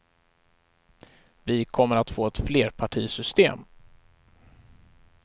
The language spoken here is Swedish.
Vi kommer att få ett flerpartisystem.